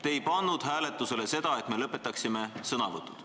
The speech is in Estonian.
" Te ei pannud hääletusele seda, kas me lõpetame sõnavõtud.